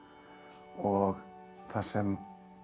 og það sem